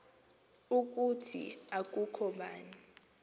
ukuthi akukho bani